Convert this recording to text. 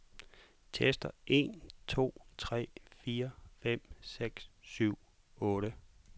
Tester en to tre fire fem seks syv otte.